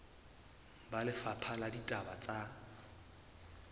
ba lefapha la ditaba tsa